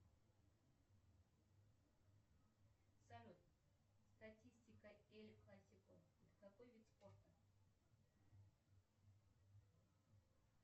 салют статистика эль классика какой вид спорта